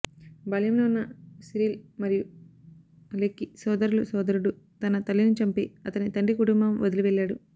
బాల్యములో ఉన్న సిరిల్ మరియు అలెకి సోదరులు సోదరుడు తన తల్లిని చంపి అతని తండ్రి కుటుంబం వదిలి వెళ్ళాడు